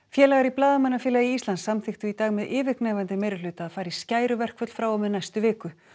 félagar í Blaðamannafélagi Íslands samþykktu í dag með yfirgnæfandi meirihluta að fara í frá og með næstu viku